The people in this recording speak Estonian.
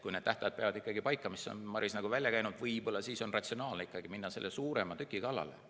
Kui need tähtajad peavad paika, mis Maris on välja käinud, võib-olla siis on ratsionaalne minna selle suurema tüki kallale.